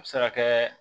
A bɛ se ka kɛ